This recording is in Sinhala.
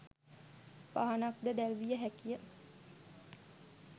පහනක් ද දැල්විය හැකි ය.